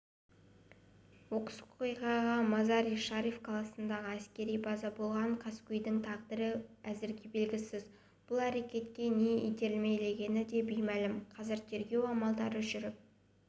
оқыс оқиға мазари-шариф қаласындағы әскери базада болған қаскөйдің тағдыры әзірге белгісіз бұл әрекетке не итермелегені де беймәлім қазір тергеу амалдары жүріп